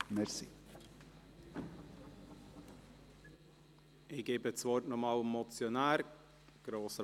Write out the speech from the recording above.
Ich gebe das Wort noch einmal dem Motionär.